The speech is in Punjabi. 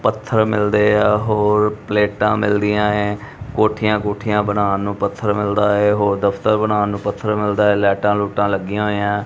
ਪੱਥਰ ਮਿਲਦੇਆ ਹੋਰ ਪਲੇਟਾਂ ਮਿਲਦੀਆਂ ਏਂ ਕੋੱਠਿਯਾਂ ਕੂੱਠੀਆਂ ਬਨਾਨ ਨੂੰ ਪੱਥਰ ਮਿਲਦਾ ਹੈ ਹੋਰ ਦਫ਼ਤਰ ਬਨਾਨ ਨੂੰ ਪੱਥਰ ਮਿਲਦਾ ਹੈ ਲਾਈਟਾਂ ਲੁਇਟਾਂ ਲੱਗੀਆਂ ਹੋਈਆਂ ਹੈਂ।